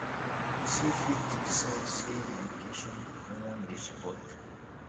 persin fit decide say na education im won de support